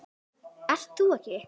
Ert þú ekki